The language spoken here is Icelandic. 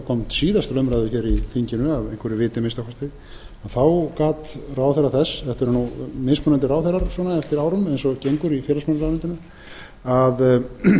kom síðast til umræðu í þinginu af einhverju viti að minnsta kosti þá gat ráðherra þess þetta eru nú mismunandi ráðherrar eftir árum eins og gengur í félagsmálaráðuneytinu að